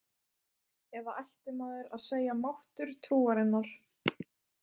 Eða ætti maður að segja máttur trúarinnar?